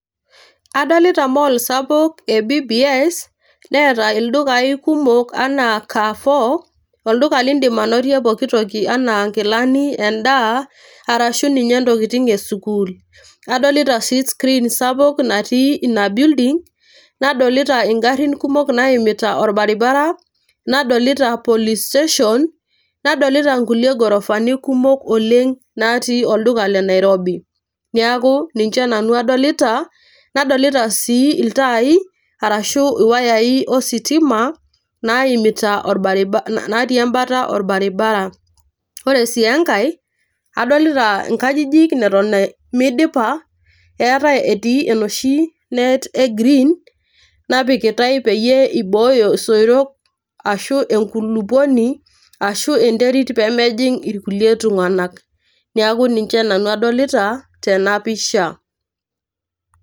Adolita mall sapuk e BBS neeta ildukai kumok anaa Carrefour, olduka liindim ainotie pookin toki enaa nkilani, endaa, arshu ninye ntokitin e sukuul. Adolita sii screen sapuk natii ina building, nadolita ing'arin kumok naimita orbaribara, nadolita police station, nadolita nkulie gorofani kumok oleng natii olduka le Nairobi. Neeku ninje nanu adolita, nadolita sii iltai arashu iwayai ositima naimita orbaribara natii embata orbaribara. Ore sii enkae adolita nkajijik neton midipa, etae etii enoshi net e [cs cs] green napikitai peyie ibooyo isoitok ashu ekuloponi ashu enterit pee mejing' irkulie tung'anak. Neeku ninje nanu adolita tena pisha.